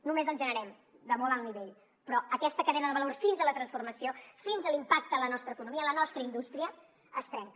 només el generem de molt alt nivell però aquesta cadena de valor fins a la transformació fins a l’impacte en la nostra economia en la nostra indústria es trenca